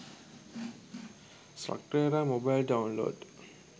slugterra mobile download